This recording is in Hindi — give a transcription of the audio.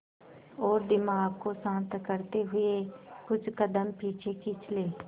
और दिमाग को शांत करते हुए कुछ कदम पीछे खींच लें